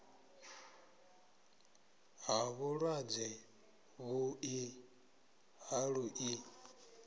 ha vhulwadze vhuḓi ha luḓi